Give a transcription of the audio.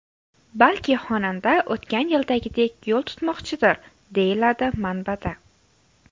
Balki xonanda o‘tgan yildagidek yo‘l tutmoqchidir, deyiladi manbada.